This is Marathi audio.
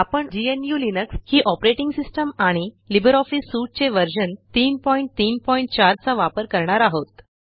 आपण ग्नू लिनक्स ही ऑपरेटिंग सिस्टम आणि लिब्रिऑफिस सूट चे व्हर्शन 334 चा वापर करणार आहोत